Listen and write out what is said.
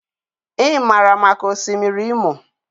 I maara maka Osimiri Imo.